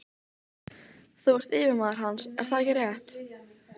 Þú ert yfirmaður hans, er það ekki rétt?